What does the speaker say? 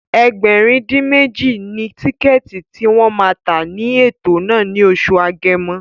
Ẹgbẹ̀rin-dín-méjì ni tíkẹ̀ẹ̀tì tí wọ́n ma tà ní ètò náà ní oṣù Agẹmọ